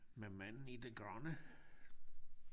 Med manden i det grønne